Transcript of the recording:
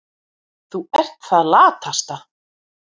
Þú ert það latasta.